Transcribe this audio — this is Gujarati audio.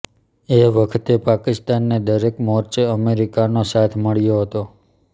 એ વખતે પાકિસ્તાનને દરેક મોરચે અમેરીકાનો સાથ મળ્યો હતો